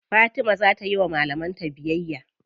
Fatima za ta yiwa malaman ta biyayya.